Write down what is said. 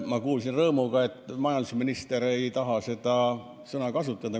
Ma kuulsin rõõmuga, et majandusminister ei taha seda sõna kasutada.